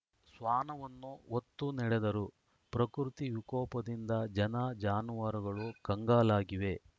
ಶ್ವಾನವನ್ನೂ ಹೊತ್ತು ನಡೆದರು ಪ್ರಕೃತಿ ವಿಕೋಪದಿಂದ ಜನ ಜಾನುವಾರುಗಳು ಕಂಗಾಲಾಗಿವೆ